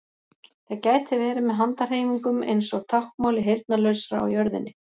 Það gæti verið með handahreyfingum eins og táknmáli heyrnarlausra á jörðinni.